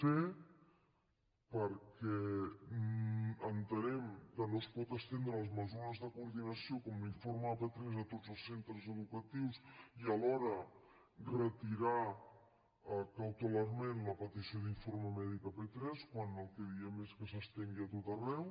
c perquè en·tenem que no es pot estendre les mesures de coordina·ció com l’informe de p3 a tots els centres educatius i alhora retirar cautelarment la petició d’informe mèdic a p3 quan el que diem és que s’estengui a tot arreu